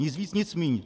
Nic víc nic míň.